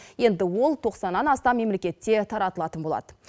енді ол тоқсаннан астам мемлекетте таратылатын болады